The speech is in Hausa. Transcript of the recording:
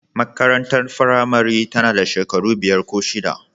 Makarantar firamare tana da shekaru biyar ko shida.